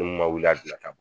Ni mun ma wuli gilan